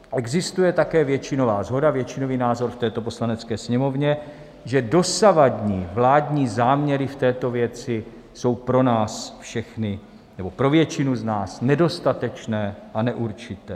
Existuje také většinová shoda, většinový názor v této Poslanecké sněmovně, že dosavadní vládní záměry v této věci jsou pro nás všechny, nebo pro většinu z nás, nedostatečné a neurčité.